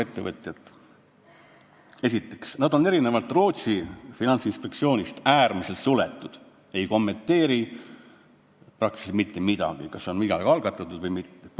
Esiteks, meie finantsinspektsioon on erinevalt Rootsi finantsinspektsioonist äärmiselt suletud, nad ei kommenteeri praktiliselt mitte midagi, kas on midagi algatatud või mitte.